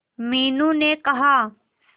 मीनू ने कहा